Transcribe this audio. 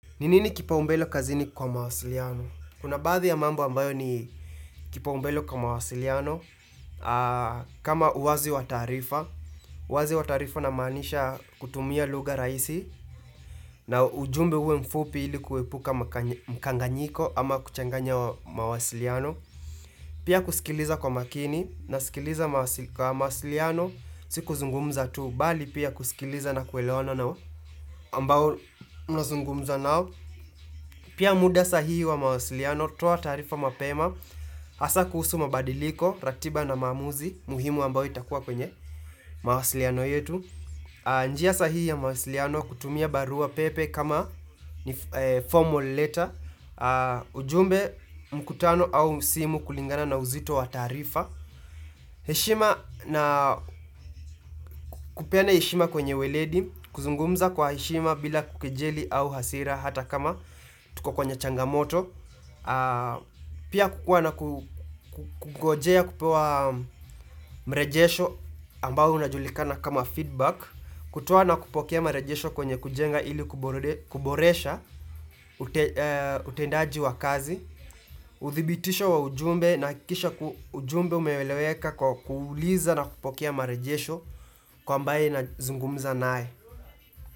Ninini kipa umbele kazini kwa mawasiliano? Kuna baadhi ya mambo ambayo ni kipaumbele kwa mawasiliano kama uazi wataarifa Uazi wataarifa namaanisha kutumia lugha rahisi na ujumbe uwe mfupi ilikuwe kuepuka mkanganyiko Ama kuchanganya mawasiliano Pia kusikiliza kwa makini na sikiliza kwa mawasiliano siku zungumza tu Bali pia kusikiliza na kueleona nao ambao nazungumza nao Pia muda sahihi wa mawasiliano, toa taarifa mapema Hasa kuhusu mabadiliko, ratiba na maamuzi, muhimu ambao itakuwa kwenye mawasiliano yetu njia sahihi ya mawasiliano kutumia barua pepe kama ni formal letter ujumbe mkutano au simu kulingana na uzito wa tarifa heshima na kupena heshima kwenye weledi kuzungumza kwa heshima bila kukejeli au hasira hata kama tuko kwenye changamoto Pia kukua na kungojea kupewa mrejesho ambao unajulikana kama feedback Kutow na kupokea marejesho kwenye kujenga ili kuboresha utendaji wa kazi uthibitisho wa ujumbe na kisha ujumbe umeweleweka kwa kuuliza na kupokea marejesho kwa ambaye na azungumza nae.